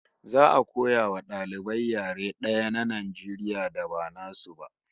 Za'a koya wa dalibai yare daya na Najeriya da ba nasu ba